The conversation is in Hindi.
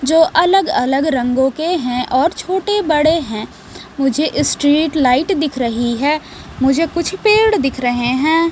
जो अलग-अलग रंगों के हैं और छोटे-बड़े हैं मुझे स्ट्रीट लाइट दिख रही है मुझे कुछ पेड़ दिख रहे हैं।